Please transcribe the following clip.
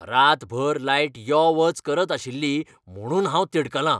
रातभर लायट यो वच करत आशिल्ली म्हणून हांव तिडकलां.